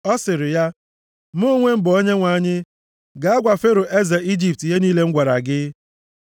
ọ sịrị ya, “Mụ onwe m bụ Onyenwe anyị, gaa gwa Fero eze Ijipt ihe niile m gwara gị.”